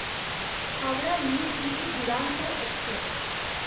Howrah new Delhi Duronto Express